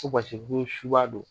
Ko ko suba don